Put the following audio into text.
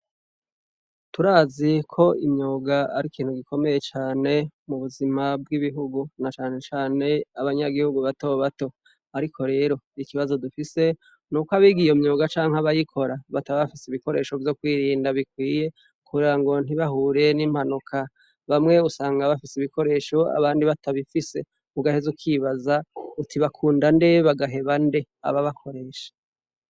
Turaziko imyuga ar'ikintu gikomeye cane mu buzima bw'ibihugu, na cane cane abanyagihugu bato bato. Ariko rero ikibazo dufise ni uko abiga iyo myuga canke abayikora bataba bafise ibikoresho vyo kwirinda bikwiye kugira ngo ntibahure n'impanuka. Bamwe usanga bafise ibikoresho, abandi batabifise, ugahez ukibaza uti : "bakunda nde bagaheba nde ababakoresha."